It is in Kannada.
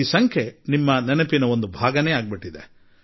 ಈಗ ಇದು ನಿಮ್ಮ ನೆನಪಿನ ಭಾಗವಾಗಿದೆ